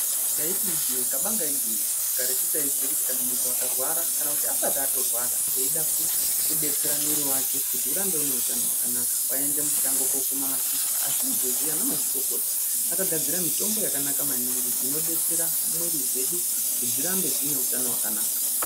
Taiti ijee kabanga igwinyiso karetu taiziye kuti kana muntu akarwara asati atorwara eida kudetsera mwiri vake kuti urambe une utano hwakanaka. Vaienda mushango kokuma mashizha asi izvozvi anamazvikokota akagadzira mitombo yakanaka maningi inodetsera mwiri dzedu kuti dzirambe dzine utano hwakanaka.